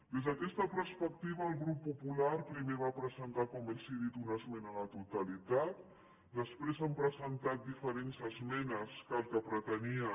des d’aquesta perspectiva el grup popular primer va presentar com els he dit una esmena a la totalitat després hem presentat diferents esmenes que el que pretenien